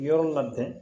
Yɔrɔ labɛn